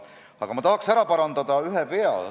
Aga ma tahaks ära parandada ühe vea.